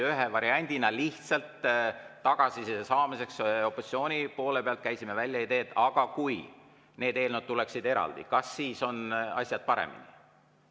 Ühe variandina, lihtsalt tagasiside saamiseks opositsiooni poole pealt, käisime välja idee, et kui need eelnõud tuleksid eraldi, kas siis oleks asjad paremini.